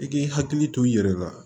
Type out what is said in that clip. I k'i hakili to i yɛrɛ la